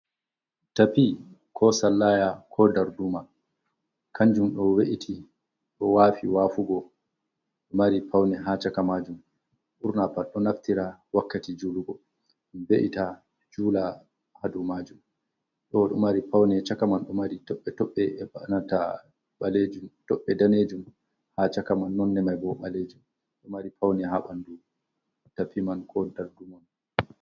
Tapi ko Sallaya ko Darduma kanjum ɗo be’iti ɗo wafi wafugo ɗo mari paune ha caka majum ɓurna pat ɗo naftira wakkati julugo en be’ita jula ha dow majum dowo ɗo mari paune cakaman do mari toɓɓe toɓɓe danejun ha chaka man nonde maibo ɓalejum ɗo mari paune ha ɓandu Tapi man ko Darduma mani.